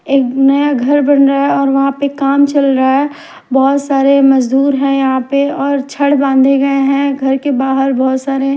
एक नया घर बन रहा है और वहां पे काम चल रहा है बहुत सारे मजदूर है यहां पे और छड़ बांधे गए हैं घर के बाहर बहुत सारे।